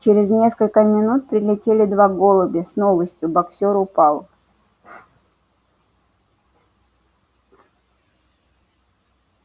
через несколько минут прилетели два голубя с новостью боксёр упал